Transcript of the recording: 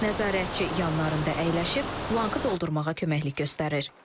Nəzarətçi yanlarında əyləşib, blankı doldurmağa köməklik göstərir.